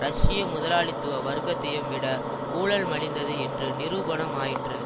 ரஷ்ய முதலாளித்துவ வர்க்கத்தையும் விட ஊழல்மலிந்தது என்று நிரூபணம் ஆயிற்று